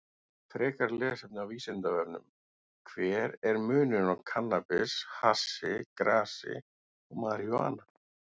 Frekara lesefni á Vísindavefnum: Hver er munurinn á kannabis, hassi, grasi og marijúana?